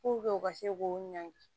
u ka se k'u ɲangi